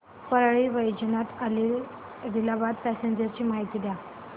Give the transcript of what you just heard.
Parli Vaijnath Adilabad passenger ची माहिती द्या